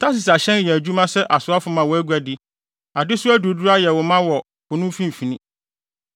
“ ‘Tarsis ahyɛn yɛ adwuma sɛ asoafo ma wʼaguade. Adesoa duruduru ayɛ wo ma wɔ po no mfimfini.